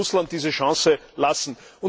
Man sollte Russland diese Chance lassen.